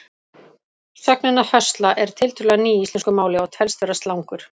Sögnin að höstla er tiltölulega ný í íslensku máli og telst vera slangur.